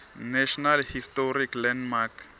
national historic landmark